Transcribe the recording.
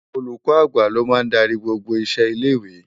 Ólúkò ágbá ló má n dàri gbógbó iṣé ilé iwé